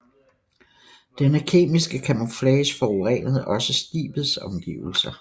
Denne kemiske camouflage forurenede også skibets omgivelser